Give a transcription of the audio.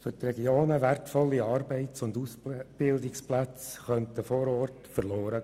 Für die Regionen wertvolle Arbeits- und Ausbildungsplätze vor Ort könnten verloren gehen.